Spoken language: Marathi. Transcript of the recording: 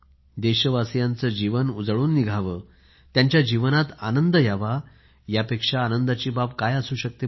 देशवासीयांचे जीवन उजळून निघावे त्यांच्या जीवनात आनंद यावा यापेक्षा आनंदाची बाब काय असू शकते